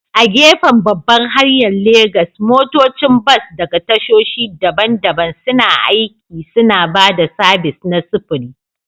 A gefen babbar hanyar Legas, motocin bas daga tashoshi daban-daban suna aiki, suna ba da sabis na sufuri.